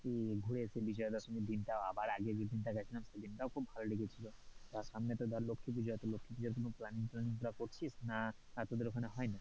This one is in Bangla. ঘুরে এসে বিজয়া দশমীর দিন টা আবার আগে যে দিন টা গেছিলাম, সেদিন টাও খুব ভালো লেগেছিল, তা সামনে তো ধরে লক্ষী পুষো, তো লক্ষি পুজোর কোনো planning টলানিং গুলো করছিস না তোদের ওখানে হয় না,